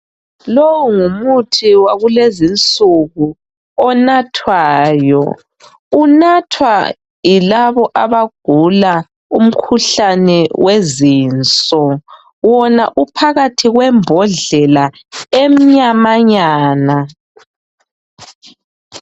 Lowu ngumthi wakulezinsuku onathwayo, unathwa yilabo abagula umkhuhlane wezinso wona uphakathi kwembodlela emnyamanyana.